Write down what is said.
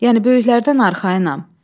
Yəni böyüklərdən arxayınam.